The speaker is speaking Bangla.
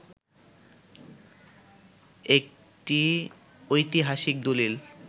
একটি ঐতিহাসিক দলিল